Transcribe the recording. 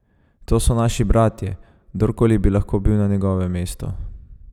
To so naši bratje, kdorkoli bi lahko bil na njegovem mestu!